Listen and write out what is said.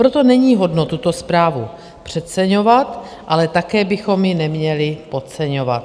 Proto není hodno tuto zprávu přeceňovat, ale také bychom ji neměli podceňovat.